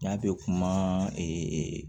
N y'a bɛ kuma